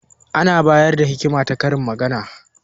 Ana bayar da hikima ta karin magana.